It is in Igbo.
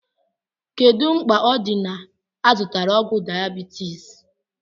Kedu mkpa o di na -azụtara ọgwụ diabeities?